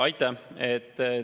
Aitäh!